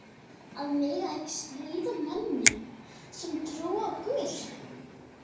Að mega ekki stríða mönnum sem trúa á guð?